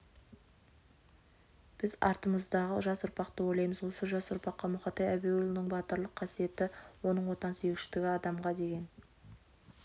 біз артымыздағы жас ұрпақты ойлаймыз осы жас ұрпаққа мұқатай әбеуұлының батырлық қасиеті оның отансүйгіштігі адамға деген